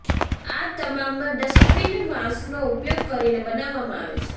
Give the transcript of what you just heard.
આ તમામ ડસ્ટબીન વાંસનો ઉપયોગ કરીને બનાવવામાં આવે છે